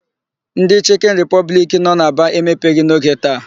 Ndị Chịkịn Ripọbliki nọ na Aba emepeghị n'oge taa.